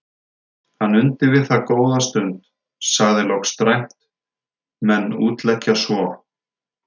Hann undi við það góða stund, sagði loks dræmt:-Menn útleggja svo.